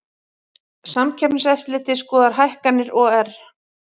Samkeppniseftirlitið skoðar hækkanir OR